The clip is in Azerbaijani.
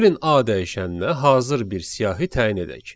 Gəlin a dəyişənnə hazır bir siyahı təyin edək.